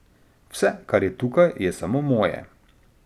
Vse, kar je tukaj, je samo moje.